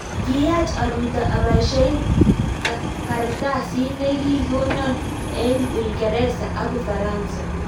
Kiyachaa arutoo apaishe kartasiit negikikonaa eng uingeresa ak ufaransa